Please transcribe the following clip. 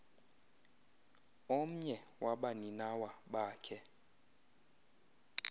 omnye wabaninawa bakhe